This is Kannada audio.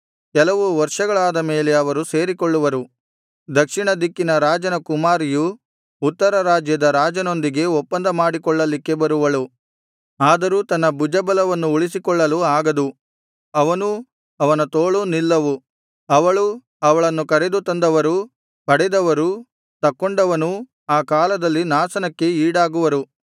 ಕೆಲವು ವರ್ಷಗಳಾದ ಮೇಲೆ ಅವರು ಸೇರಿಕೊಳ್ಳುವರು ದಕ್ಷಿಣ ದಿಕ್ಕಿನ ರಾಜನ ಕುಮಾರಿಯು ಉತ್ತರ ರಾಜ್ಯದ ರಾಜನೊಂದಿಗೆ ಒಪ್ಪಂದ ಮಾಡಿಕೊಳ್ಳಲಿಕ್ಕೆ ಬರುವಳು ಆದರೂ ತನ್ನ ಭುಜಬಲವನ್ನು ಉಳಿಸಿಕೊಳ್ಳಲು ಆಗದು ಅವನೂ ಅವನ ತೋಳೂ ನಿಲ್ಲವು ಅವಳೂ ಅವಳನ್ನು ಕರೆದು ತಂದವರೂ ಪಡೆದವನೂ ತಕ್ಕೊಂಡವನೂ ಆ ಕಾಲದಲ್ಲಿ ನಾಶನಕ್ಕೆ ಈಡಾಗುವರು